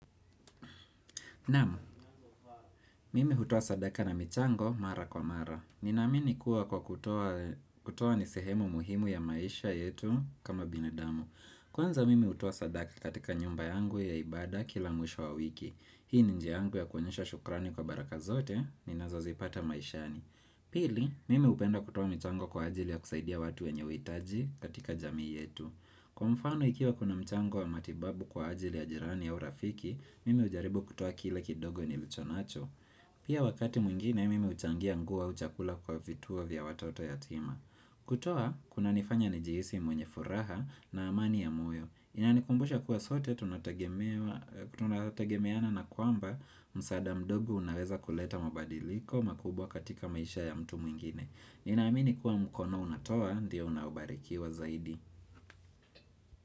Namu, mimi utuoa sadaka na michango mara kwa mara. Ninamini kuwa kwa kutuoa nisehemu muhimu ya maisha yetu kama binadamu. Kwanza mimi utuoa sadaka katika nyumba yangu ya ibada kila mwisho wa wiki. Hii ni njiangu ya kunyesha shukrani kwa baraka zote ni nazo zipata maishani. Pili, mimi upenda kutuwa michango kwa ajili ya kusaidia watu ya nwenyewitaji katika jamii yetu. Kwa mfano ikiwa kuna mchango wa matibabu kwa ajili ya jirani au rafiki, Mime ujaribu kutoa kile kidogo nilicho nacho Pia wakati mwingine mimi uchangia nguo au chakula kwa vituo vya watoto yatima kutoa, kuna nifanya nijihisi mwenye furaha na amani ya moyo Inanikumbusha kuwa sote tunatagemeana na kwamba Musada mdogo unaweza kuleta mabadiliko makubwa katika maisha ya mtu mwingine Ninaamini kuwa mkono unatoa, ndiyo unabarikiwa zaidi.